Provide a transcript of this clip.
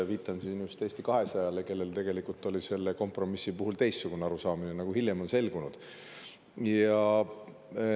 Viitan siin just Eesti 200‑le, kellel tegelikult oli selle kompromissi puhul teistsugune arusaamine, nagu hiljem on selgunud.